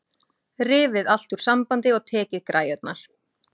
Rifið allt úr sambandi og tekið græjurnar.